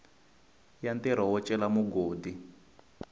ya ntirho wo cela mugodi